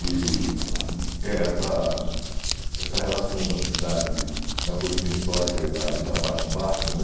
E é essa essa relação da cidade, da colina histórica e da e da parte baixa, né?